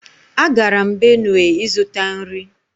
Agara m Benue ịzụta nri